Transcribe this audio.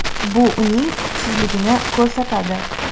Bu uning kuchsizligini ko‘rsatadi.